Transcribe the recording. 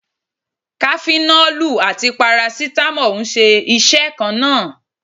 Kafinọ́lù àti Parasítámọ̀ ń ṣe iṣẹ́ kan náà.